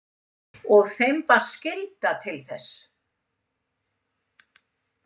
Og þeim bar skylda til þess.